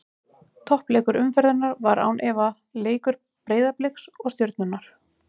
Toppleikur umferðarinnar var án efa leikur Breiðabliks og Stjörnunnar.